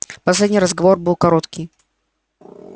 последний разговор был короткий